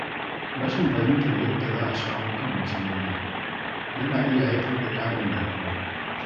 Rashin fahimtar yadda za a shawo kan matsaloli, yana iya haifar da ƙãrin damuwa.